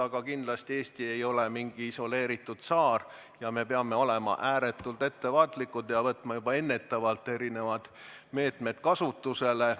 Aga kindlasti Eesti ei ole mingi isoleeritud saar ja me peame olema ääretult ettevaatlikud ja võtma juba ennetavalt erinevad meetmed kasutusele.